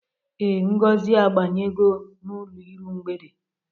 Ee, Ngozi abanyego n'ụlọ iru mgbede.